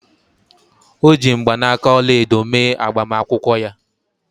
O ji mgbanaka ọla edo mee agbamakwụkwọ ya